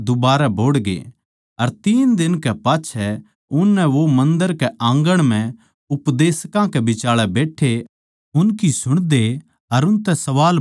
अर तीन दिन कै पाच्छै उननै वो मन्दर के आँगण म्ह उपदेशकां कै बिचाळै बैट्ठे उनकी सुणदे अर उनतै सवाल बुझते पाया